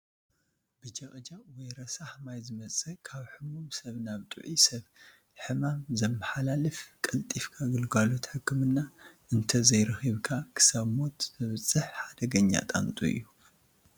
ብ ጀቕጀቕ ወይ ረሳሕ ማይ ዝመፅእ ካብ ሕሙም ሰብ ናብ ጥዑይ ሰብ ሕማም ዘመሓላልፍ ቀልጢፍካ ግልጋሎት ሕክምና እንተዘይረኺብካ ክሳብ ሞት ዘብፅሕ ሓደገኛ ጣንጡ እዩ ።